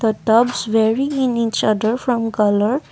the tops wearing in each other from colour.